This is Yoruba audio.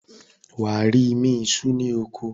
wà á rí “imí isú” ní oko.